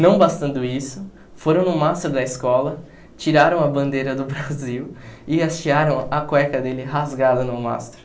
Não bastando isso, foram no mastro da escola, tiraram a bandeira do Brasil e hastearam a cueca dele rasgada no mastro.